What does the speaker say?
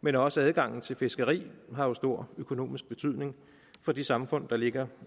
men også adgangen til fiskeri har jo stor økonomisk betydning for de samfund der ligger